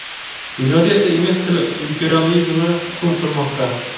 dunyoda esa ingliz tili imperializmi hukm surmoqda.